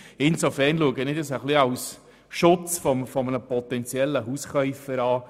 Insofern betrachte ich das als Schutz für einen potenziellen Hauskäufer.